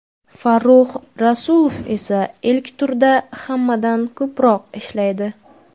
Farrux Rasulov esa ilk turda hammadan ko‘proq ishlaydi.